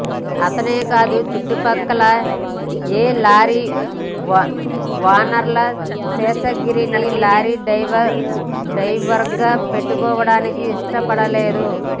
అతనే కాదు చుట్టుప్రక్కల ఏ లారీ ఓనరు శేషగిరిని లారీ డ్రైవర్గా పెట్టుకోవడానికి ఇష్టపడలేదు